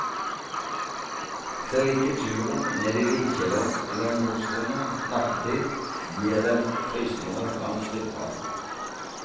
Selv ikke turen ned i likkjelleren eller morsrommet nattetid gir dem frysninger langs ryggraden.